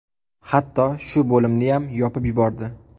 Hatto shu bo‘limniyam yopib yubordi.